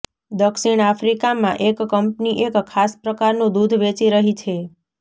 દક્ષિણ આફ્રિકામાં એક કંપની એક ખાસ પ્રકારનું દૂધ વેચી રહી છે